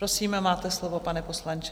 Prosím, máte slovo, pane poslanče.